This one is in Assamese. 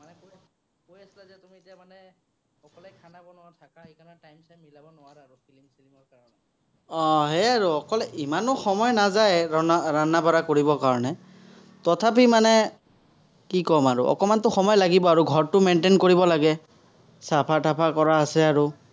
আহ হে আৰু অকল ইমানো সময় নাযায় বঢ়া কৰিবৰ কাৰণে। তথাপি মানে কি ক'ম আৰু, অকণমানতো সময় লাগিব, আৰু ঘৰটো maintain কৰিব লাগে। চাফা-টাফা কৰা আছে আৰু।